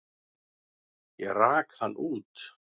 Ég rak hann út.